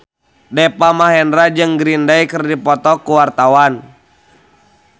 Deva Mahendra jeung Green Day keur dipoto ku wartawan